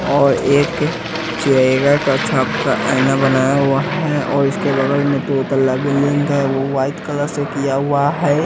और एक चेरेइगा का छाप का आईना बनाया हुआ है और इसके बगल में दो तल्ला बिल्डिंग है वो वाइट कलर से किया हुआ है।